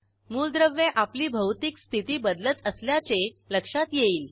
मूलद्रव्ये आपली भौतिक स्थिती बदलत असल्याचे लक्षात येईल